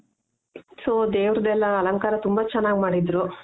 so ದೇವ್ರದು ಎಲ್ಲ ಅಲಂಕಾರ ತುಂಬ ಚೆನಾಗ್ ಮಾಡಿದ್ರು.